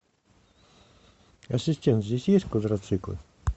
ассистент здесь есть квадроциклы